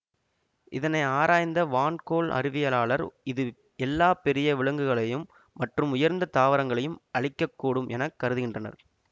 இதனை ஆராய்ந்த வான் கோள் அறிவியலாளர்கள் இது எல்லா பெரிய விலங்குகளையும் மற்றும் உயர்ந்த தாவரங்களையும் அழிக்க கூடும் என கருதுகின்றனர்